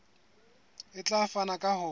e tla fapana ka ho